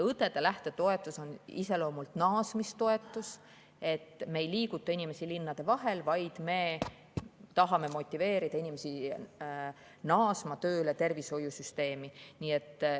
Õdede lähtetoetus on iseloomult naasmistoetus, me ei liiguta inimesi linnade vahel, vaid me tahame motiveerida inimesi naasma tööle tervishoiusüsteemi.